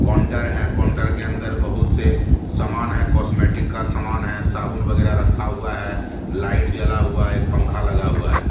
Counter है counter के अंदर बहुत से सामान है कॉस्मेटिक सामान है साबुन वगैरह रखा हुआ है लाइट जला हुआ है एक पंखा लगा हुआ है।